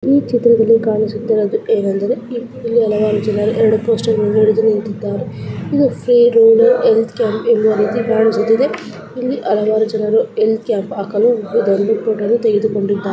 ಈ ಚಿತ್ರದಲ್ಲಿ ಕಾಣಿಸುತ್ತಾ ಇರುವುದು ಏನೆಂದರೆ ಇಲ್ಲಿ ಹಲವಾರು ಜನರು ಎರಡು ಪೋಸ್ಟರ್ಗಳನ್ನು ಹಿಡಿದು ನಿಂತಿದ್ದಾರೆ ಇದು ರೂರಲ್ ಹೆಲ್ತ್ ಕ್ಯಾಂಪ್ ಅಂತ ಕಾಣಿಸುತ್ತಿದೆ ಇಲ್ಲಿ ಹಲವಾರು ಜನರು ಹೆಲ್ತ್ ಕ್ಯಾಂಪ್ ಹಾಕಲು ಫೋಟೋವನ್ನು ತೆಗೆದುಕೊಂಡಿದ್ದಾರೆ.